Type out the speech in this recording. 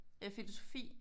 Øh filosofi